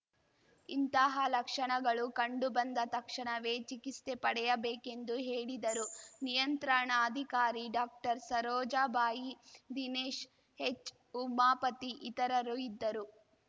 ಇಂತಹ ಲಕ್ಷಣಗಳು ಕಂಡು ಬಂದ ತಕ್ಷಣವೇ ಚಿಕಿತ್ಸೆ ಪಡೆಯಬೇಕೆಂದು ಹೇಳಿದರು ನಿಯಂತ್ರಣಾಧಿಕಾರಿ ಡಾಕ್ಟರ್ಸರೋಜಾಬಾಯಿ ದಿನೇಶ್‌ ಹೆಚ್‌ಉಮಾಪತಿ ಇತರರು ಇದ್ದರು